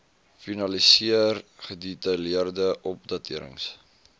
finaliseer gedetailleerde opdaterings